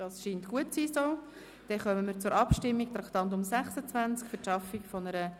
– Dies scheint in Ordnung zu sein.